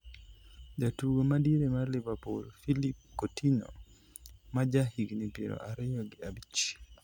jatugo madiere mar Liverpool philippe Coutinho, maja higni piero ariyo gi abich